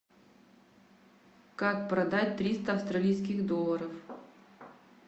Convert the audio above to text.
как продать триста австралийских долларов